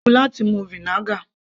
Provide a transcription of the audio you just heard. Ó léwu láti mu vinegar